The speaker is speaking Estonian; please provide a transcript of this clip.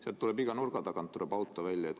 Seal tuleb iga nurga tagant auto välja.